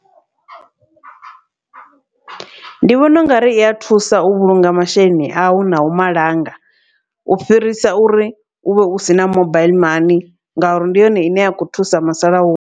Ndi vhona ungari iya thusa u vhulunga masheleni au nau malanga, u fhirisa uri uvhe u sina mobile mani ngauri ndi yone ine ya kho thusa musalauno.